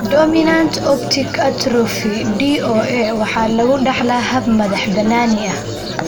Dominant optic atrophy (DOA) waxaa lagu dhaxlaa hab madax-bannaani ah.